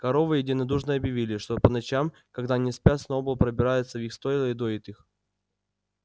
коровы единодушно объявили что по ночам когда они спят сноуболл пробирается в их стойла и доит их